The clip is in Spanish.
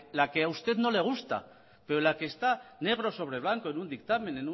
la que a usted no le gusta pero la que está negro sobre blanco en un dictamen